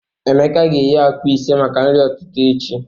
Emeka ga-eghe akwa ise maka nri ụtụtụ echi.